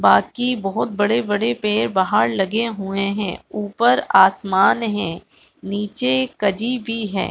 बाकी बहुत बड़े-बड़े पेड़ बहार लगे हुए है उपर असमान है नीचे कजी भी हैं।